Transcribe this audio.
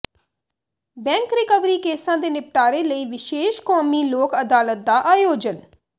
bank recovery ਕੇਸਾਂ ਦੇ ਨਿਪਟਾਰੇ ਲਈ ਵਿਸ਼ੇਸ਼ ਕੌਮੀ ਲੋਕ ਅਦਾਲਤ ਦਾ ਆਯੋਜਨ